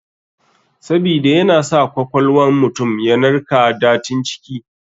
Sabida yana sa kwakwal wan mutum yanarka datin ciki.